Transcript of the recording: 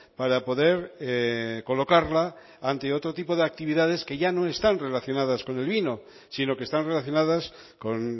para poder colocarla ante otro tipo de actividades que ya no están relacionadas con el vino sino que están relacionadas con